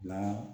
La